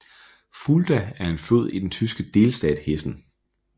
Fulda er en flod i den tyske delstat Hessen